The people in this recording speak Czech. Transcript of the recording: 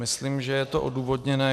Myslím, že je to odůvodněné.